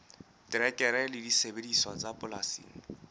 terekere le disebediswa tsa polasing